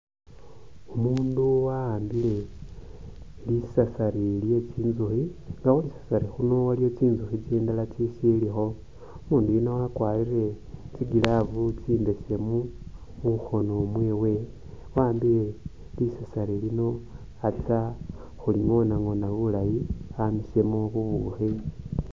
Umundu wa'ambile lisasari lye tsinzukhi nga khwisasari khuno waliwo tsinzukhi tsindala tsi silikho umundu uyuno akwarire tsi’glove tsimbesemu mukhono mwewe awambile lisasari lino atsa khulingonangona bulaayi amisemo bubukhi.